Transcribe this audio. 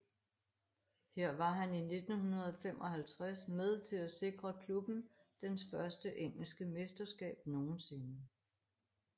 Her var han i 1955 med til at sikre klubben dens første engelske mesterskab nogensinde